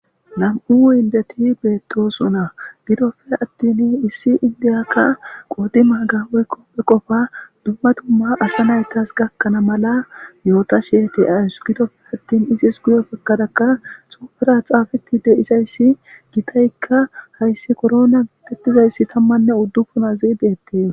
Nam'u indeti beettosona gidopfe attin issi indiyakka qoodi magaoykkopphe qofa dumma dumma asa naytas gakkanaa mala myoota sheete ayusu gidofe attin izis guyo bekkadaka xupera xaafetide izayssi gitaykka hayssi korona detizayssi tammanne uddupunazidettee.